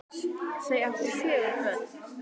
Þau áttu fjögur börn